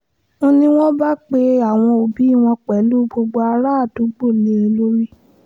n ní wọ́n bá pe àwọn òbí wọn pẹ̀lú gbogbo àràádúgbò lé e lórí